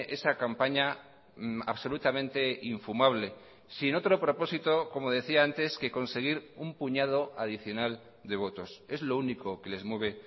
esa campaña absolutamente infumable sin otro propósito como decía antes que conseguir un puñado adicional de votos es lo único que les mueve